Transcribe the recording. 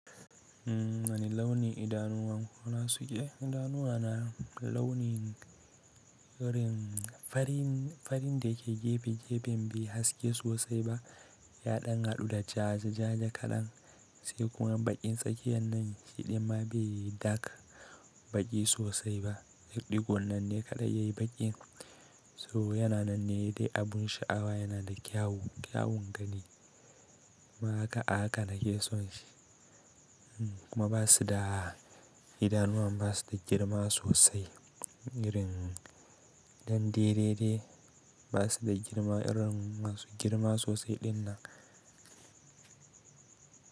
Waene launin idanuwan suna sike? Idanuwa na launin irin farin, farin da yake gefe-gefen bai haske sosai ba, ya ɗan haɗu da jaa-jaa-ja kaɗan sai kuma baƙin tsakiyar nan shiɗi ma bai yi dak baƙi sosai ba, riɗi gon nan ne kaɗai yayi baƙin. So yana nan ne dai abun sha'awa yana da kyawu, kyawun gani ma haka, a haka nake son shi. Kuma ba su da, idanuwan ba su da girma sosai irin ɗan dai dai ba su da girma irin masu girma sosai ɗin nan.